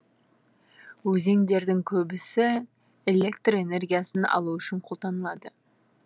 өзендердің көбісі элетр энергиясын алу үшін қолданылады